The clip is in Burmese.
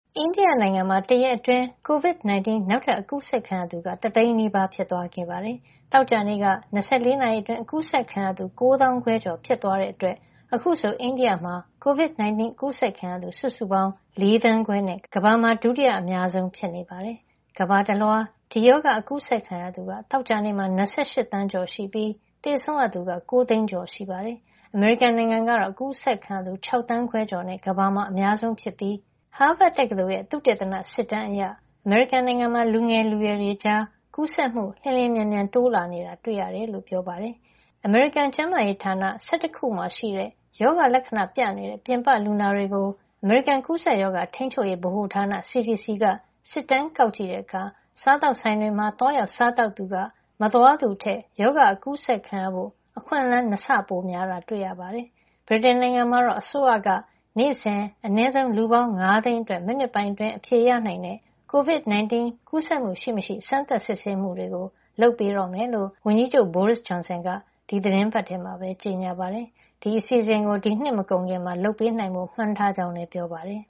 အိန္ဒိယ နိုင်ငံမှာ တရက်အတွင်း COVID-19 နောက်ထပ် အကူးစက်ခံရသူက တသိန်းနီးပါး ဖြစ်သွားခဲ့ပါတယ်။ သောကြာနေ့က ၂၄ နာရီအတွင်း အကူးစက်ခံရသူ ၉ သောင်းခွဲကျော် (၉၆,၅၅၁) ဖြစ်သွားတဲ့ အတွက် အခုဆို အိန္ဒိယမှာ COVID-19 အကူးစက်ခံရသူ စုစုပေါင်း ၄ သန်းခွဲ နဲ့ ကမ္ဘာမှာ ဒုတိယအများဆုံး ဖြစ်နေပါတယ်။ ကမ္ဘာတလွှား ဒီရောဂါအကူးစက်ခံရသူက သောကြာနေ့မှာ ၂၈ သန်းကျော်ရှိပြီး သေဆုံးရသူက ၉ သိန်းကျော် ရှိနေပါတယ်။ အမေရိကန်နိုင်ငံကတော့ အကူးစက်ခံရသူ ၆ သန်းခွဲကျော် (၆,၄၁၇,၁၈၆) နဲ့ ကမ္ဘာမှာ အများဆုံး ဖြစ်နေပြီး သေဆုံးရသူ ၂ သိန်းနီးပါး (၁၉၂,၃၈၁) ရှိနေပါတယ်။ ဟားဗတ်တက္ကသိုလ် ရဲ့ သုတေသန စစ်တမ်းအရ အမေရိကန် နိုင်ငံမှာ လူငယ်လူရွယ်တွေကြား ကူးစက်မှု လျှင်လျှင်မြန်မြန် တိုးလာနေတာ တွေ့ရပါတယ်။ အမေရိကန်ကျန်းမာရေးဌာန ၁၁ ခု မှာရှိတဲ့ ရောဂါလက္ခဏာပြနေတဲ့ ပြင်ပလူနာတွေကို အမေရိကန် ကူးစက်ရောဂါ ထိန်းချုပ်ရေး ဗဟိုဌာန CDC က စစ်တမ်းကောက်ကြည့်တဲ့ အခါ စားသောက်ဆိုင်တွေမှာ သွားရောက် စားသောက်သူက မသွားသူထက် ရောဂါ အကူးစက်ခံရဖို့ အခွင့်လန်း ၂ ဆ ပိုများတာကို တွေ့ခဲ့ရပါတယ်။ ဗြိတိန် နိုင်ငံမှာတော့ အစိုးရက နေ့စဉ် အနည်းဆုံး လူပေါင်း ၅ သိန်း အတွက် မိနစ်ပိုင်းအတွင်း အဖြေရနိုင်တဲ့ COVID-19 ကူးစက်မှုရှိမရှိ စမ်းသပ်စစ်ဆေးမှုတွေ လုပ်ပေးတော့မှာ ဖြစ်ကြောင်း ဝန်ကြီးချုပ် Boris Johnson က ဒီသီတင်းပတ်ထဲမှာပဲ ကြေညာပါတယ်။ ဒီအစီအစဉ်ကို ဒီနှစ်မကုန်ခင် လုပ်ပေးနိုင်ဖို့ မှန်းထားကြောင်းလည်း ပြောပါတယ်။